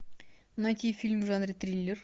найти фильм в жанре триллер